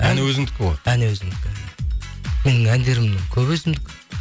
ән өзіңдікі ғой ән өзімдікі менің әндерімнің көбі өзімдікі